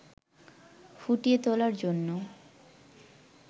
ফুটিয়ে তোলার জন্য